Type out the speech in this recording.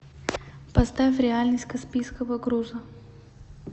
поставь реальность каспийского груза